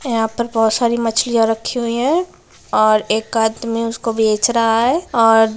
--और यहाँ पर बहुत सारी मछलियाँ रखी हुई है और एक आदमी उसको बेच रहा है और--